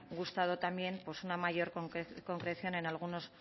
gustado también una mayor concreción en alguno de